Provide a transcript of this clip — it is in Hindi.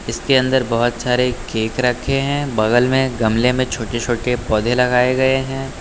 इसके अंदर बहुत सारे केक रखे हैं बगल में गमले में छोटे छोटे पौधे लगाए गए हैं।